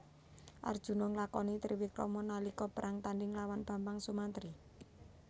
Arjuna nglakoni triwikrama nalika perang tandhing lawan Bambang Sumantri